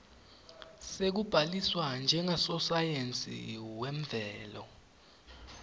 sekubhaliswa njengasosayensi wemvelo